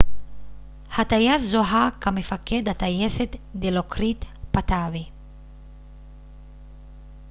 הטייס זוהה כמפקד הטייסת דילוקריט פאטאבי